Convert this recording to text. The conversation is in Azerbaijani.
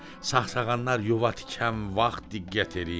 Sağsağanlar yuva tikən vaxt diqqət eləyin.